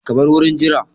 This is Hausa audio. Ku bar wurin jira!